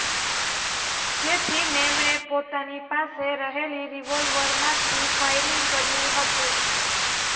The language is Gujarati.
જેથી મેમણે પોતાની પાસે રહેલી રિવોલ્વરમાંથી ફાયરિંગ કર્યું હતું